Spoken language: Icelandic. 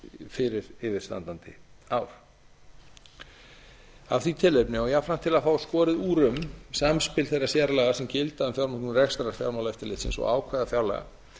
fyrir yfirstandandi ár af því tilefni og jafnframt til að fá skorið úr um samspil þeirra sérlaga sem gilda um rekstur fjármálaeftirlitsins og ákvæði fjárlaga